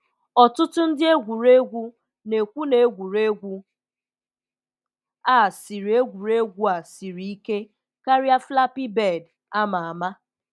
Ọtụtụ ndị egwuregwu na-ekwu na egwuregwu a siri egwuregwu a siri ike karịa Flappy Bird a ma ama.